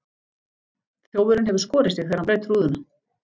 Þjófurinn hefur skorið sig þegar hann braut rúðuna.